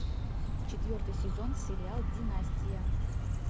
четвертый сезон сериал династия